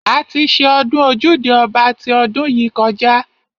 A ti ṣe ọdún ojúde ọba ti ọdún yìí kọjá.